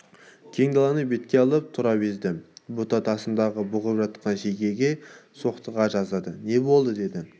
кең даланы бетке алып тұра безді бұта тасасында бұғып жатқан шегеге соқтыға жаздады не болды деді